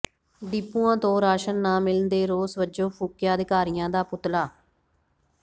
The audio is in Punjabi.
ਡਿਪੂਆਂ ਤੋਂ ਰਾਸ਼ਨ ਨਾ ਮਿਲਣ ਦੇ ਰੋਸ ਵਜੋਂ ਫੂਕਿਆ ਅਧਿਕਾਰੀਆਂ ਦਾ ਪੁਤਲਾ